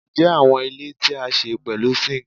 Njẹ awọn ile ti a ṣe pẹlu zinc